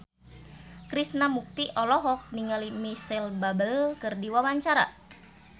Krishna Mukti olohok ningali Micheal Bubble keur diwawancara